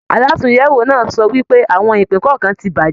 Àlatúnyẹwò náà sọ wípé àwọn ìpín kọọkan tí bàjẹ́.